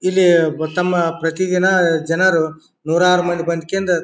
ಇಲ್ಲಿ ತಮ್ಮ ಪ್ರತಿದಿನ ಜನರು ನೂರಾರ್ ಮಂದಿ ಬಂದ್ ಕೊಂಡು.